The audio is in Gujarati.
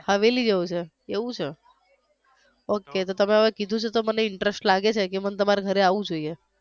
હવેલી જેવુ છે એવુ છે okay તો તમે હવે કીધુ છે તો મને interest લાગ્યો છે કે મન તમારે ઘરે આવવુ જોઈએ